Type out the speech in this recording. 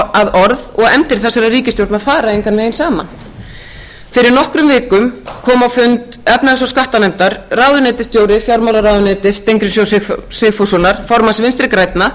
orð og efndir þessarar ríkisstjórnar fara engan veginn saman fyrir nokkrum vikum kom á fund efnahags og skattanefndar ráðuneytisstjóri fjármálaráðuneytis steingríms j sigfússonar formanns vinstri grænna